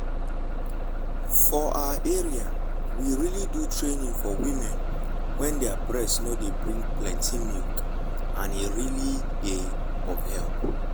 for our area we really do training for women wen their breast nor dey bring plenty milk and e really dey of help.